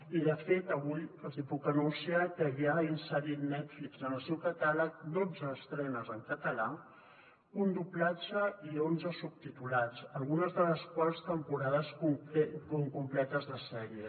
i de fet avui els hi puc anunciar que ja ha inserit netflix en el seu catàleg dotze estrenes en català un doblatge i onze subtitulats algunes de les quals són temporades completes de sèries